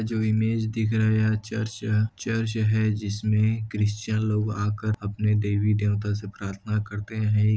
जो इमेज दिख रहा है यह चर्च चर्च है जिसमे क्रिस्चिन लोग आकार अपने देवी देवता से प्रार्थना करते है।